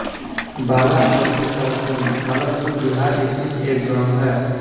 बालाचौकी सहकुंड भागलपुर बिहार स्थित एक गाँव है